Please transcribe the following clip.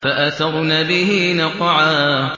فَأَثَرْنَ بِهِ نَقْعًا